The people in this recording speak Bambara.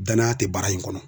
Danaya te baara in kɔnɔ.